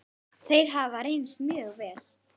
Þeir hafa reynst mjög vel.